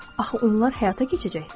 Axı onlar həyata keçəcəkdir.